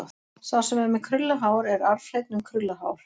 Sá sem er með krullað hár er arfhreinn um krullað hár.